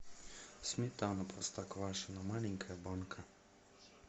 сметана простоквашино маленькая банка